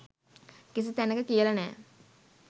කිසි තැනක කියල නෑ.